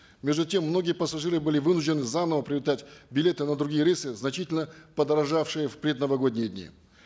между тем многие пассажиры были вынуждены заново приобретать билеты на другие рейсы значительно подорожавшие в предновогодние дни